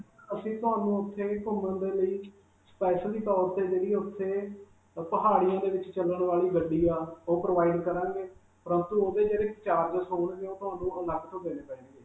ਅਸੀਂ ਤੁਹਾਨੂੰ ਉਥੇ ਘੁਮੰਣ ਦੇ ਲਈ specially ਤੌਰ 'ਤੇ ਜਿਹੜੀ ਉਥੇ ਪਹਾੜੀਆਂ ਦੇ ਵਿਚ ਚਲਣ ਵਾਲੀ ਗੱਡੀ ਹੈ, ਉਹ provide ਕਰਾਂਗੇ ਪਰੰਤੂ ਉਸਦੇ ਜਿਹੜੇ charges ਹੋਣਗੇ ਉਹ ਤੁਹਾਨੂੰ ਅਲਗ ਤੋਂ ਦੇਣੇ ਪੈਣਗੇ.